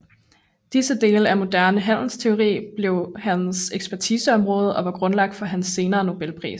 Disse dele af moderne handelsteori blev hans ekspertiseområde og var grundlaget for hans senere Nobelpris